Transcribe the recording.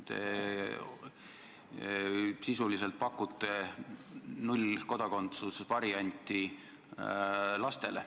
Te sisuliselt pakute lastele kodakondsuse nullvarianti.